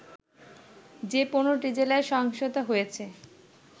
যে ১৫টি জেলায় সহিংসতা হয়েছে